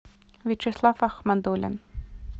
вячеслав ахмадуллин